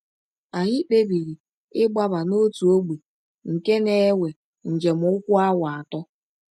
“ Anyị kpebiri ịgbaba n’ọtụ ọgbe nke na - ewe njem ụkwụ awa atọ.